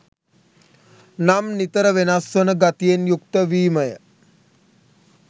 නම් නිතර වෙනස් වන ගතියෙන් යුක්ත වීමය.